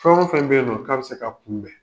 Fɛn fɛn bɛ yen nɔ ka bɛ se ka kunbɛn